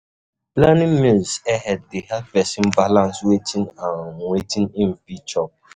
planning meals ahead dey help person balance wetin and wetin im fit chop